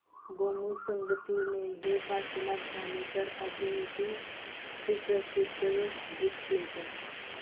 गोमू संगतीने हे काशीनाथ घाणेकर अभिनीत सुप्रसिद्ध गीत प्ले कर